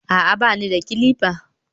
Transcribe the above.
a'a, ba ni da clippers